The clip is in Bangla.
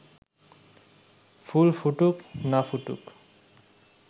ফুল ফুটুক না ফুটুক